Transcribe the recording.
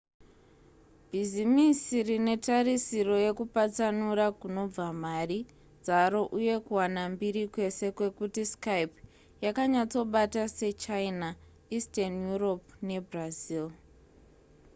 bhizimisi rine tarisiro yekupatsanura kunobva mari dzaro uye kuwana mbiri kwese kwekuti skype yakanyatsobata sechina eastern europe nebrazil